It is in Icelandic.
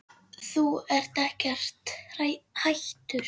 Þú ert ekkert hættur?